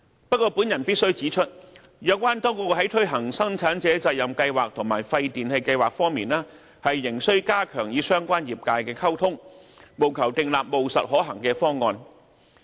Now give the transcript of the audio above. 不過，我必須指出，有關當局在推行生產者責任計劃和廢電器計劃方面，仍須加強與相關業界的溝通，務求訂立務實可行的方案。